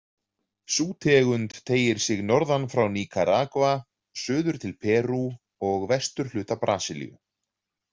Sú tegund teygir sig norðan frá Nikaragva, suður til Perú og vesturhluta Brasilíu.